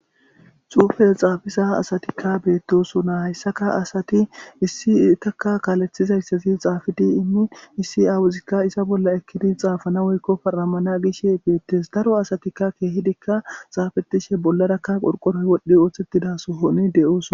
Xufes xaafiza asatikka beettosona hayssaka asati issi taka kaalethizayssazi xaafidi immin issi aawuzikka isa bolla ekkidi xaafana woykko paramana gishe beettes daro asatikka keehidikka xaafetishe bollaraka qorqoroy wodhdhi ooththettidaso ho'idi de'ooson